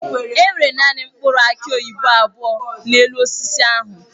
Enwere naanị mkpụrụ aki oyibo abụọ n'elu osisi ahụ.